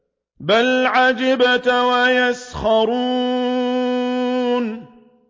بَلْ عَجِبْتَ وَيَسْخَرُونَ